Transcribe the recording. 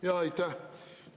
Aitäh!